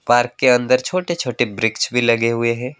Park के अंदर छोटे छोटे वृक्ष भी लगे हुए है।